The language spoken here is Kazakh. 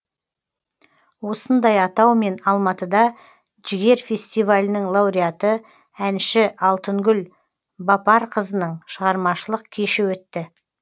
осындай атаумен алматыда жігер фестивалінің лауреаты әнші алтынгүл бапарқызының шығармашылық кеші өтті